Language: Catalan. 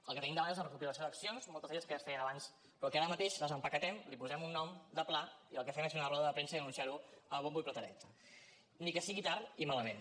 el que tenim davant és una recopilació d’accions moltes d’elles que ja es feien abans però que ara mateix les empaquetem li posem un nom de pla i el que fem és fer una roda de premsa i anunciar ho a bombo i plateret ni que sigui tard i malament